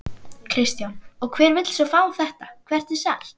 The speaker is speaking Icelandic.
Kristján: Og hver vill svo fá þetta, hvert er selt?